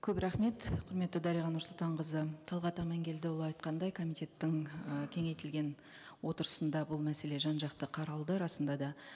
көп рахмет құрметті дариға нұрсұлтанқызы талғат аманкелдіұлы айтқандай комитеттің і кеңейтілген отырысында бұл мәселе жан жақты қаралды расында да